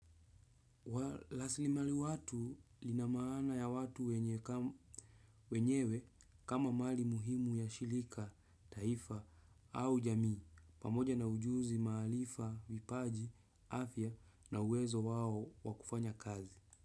Rasilimali watu lina maana ya watu wenyewe kama mali muhimu ya shirika, taifa au jamii pamoja na ujuzi, maarifa, vipaji, afya na uwezo wao wa kufanya kazi.